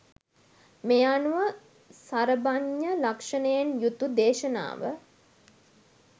මේ අනුව සරභඤ්ඤ ලක්ෂණයෙන් යුතු දේශනාව